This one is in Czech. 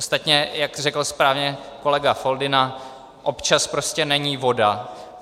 Ostatně jak řekl správně kolega Foldyna, občan prostě není voda.